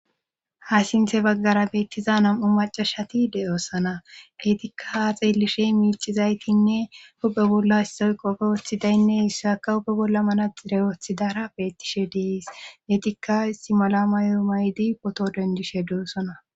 ha sinthe baggara beettiza nam'u macashati de'oossana eetikka ha xeellishey miicizaytinne huphe bolla issoy qopfe woothi daynne issa akka huphe bolla manaxire woothidara beettishe dees deetikka simala mayo maydi poto dendishe doossona